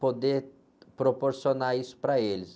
poder proporcionar isso para eles.